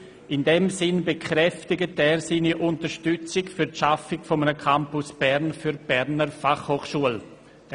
In diesem Sinne bekräftigt er seine Unterstützung für die Schaffung eines Campus Bern für die Berner Fachhochschule, […]».